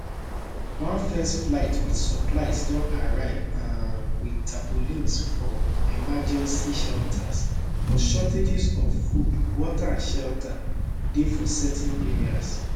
one first flight wit supplies don arrive um wit tarpaulins for emergency shelters but shortages of food water and shelter dey for certain areas